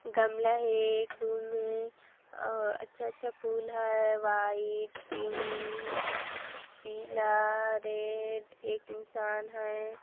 गमला हे एक रूम हे अ अच्छा अच्छा फूल है वाइट पिंक पीला रेड एक इंसान है।